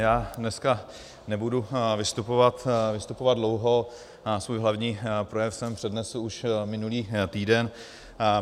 Já dneska nebudu vystupovat dlouho, svůj hlavní projev jsem přednesl už minulý týden.